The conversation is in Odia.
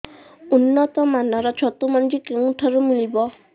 ଉନ୍ନତ ମାନର ଛତୁ ମଞ୍ଜି କେଉଁ ଠାରୁ ମିଳିବ